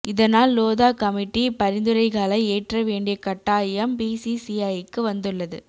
இதனால் லோதா கமிட்டி பரிந்துரைகளை ஏற்ற வேண்டிய கட்டாயம் பிசிசிஐக்கு வந்துள்ளது